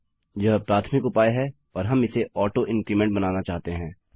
यह प्राथमिक उपाय है और हम इसे auto increment बनाना चाहते हैं